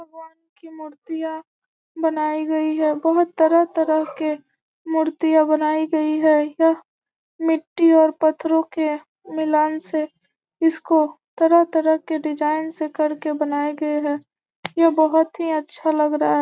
भगवान की मूर्तियाँ बनाई गई हैं बहुत तरह-तरह के मूर्तियाँ बनाई गई हैं यह मिट्टी और पत्थरों के मिलान से इसको तरह-तरह के डिज़ाइन से कर के इसको बनाई गई है यहाँ बहुत ही अच्छी लग रहा है।